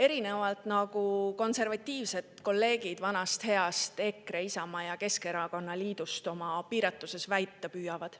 erinevalt sellest, mida konservatiivsed kolleegid vanast heast EKRE, Isamaa ja Keskerakonna liidust oma piiratuses väita püüavad.